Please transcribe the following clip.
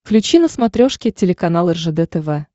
включи на смотрешке телеканал ржд тв